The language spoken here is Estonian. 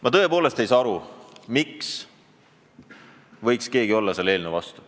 Ma tõepoolest ei saa aru, miks võiks keegi olla selle eelnõu vastu.